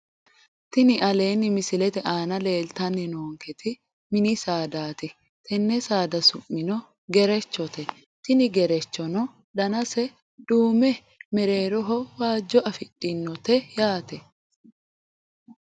Tini aleenni misilete aana leeltanni noonketi mini saadaati tenne saada su'mino gerechote tini gerechono danase duume mereeroho waajjo afidhinote yaate